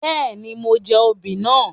Béèni, mo jẹ oobì náà